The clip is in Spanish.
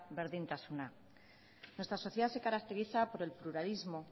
berdintasuna nuestra sociedad se caracteriza por el pluralismo